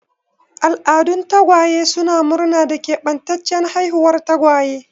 Al'adun tagwaye suna murna da keɓantaccen haihuwar tagwaye.